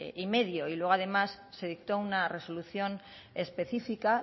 y luego además se dictó una resolución específica